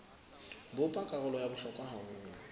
bopa karolo ya bohlokwa haholo